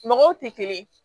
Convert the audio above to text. Mɔgɔw tɛ kelen ye